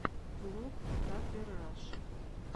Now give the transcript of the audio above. влог татлер раши